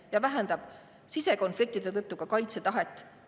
… ja vähendab sisekonfliktide tõttu ka kaitsetahet.